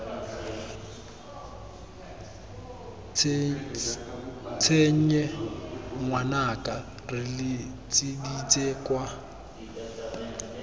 tshenye ngwanaka re letseditse kwa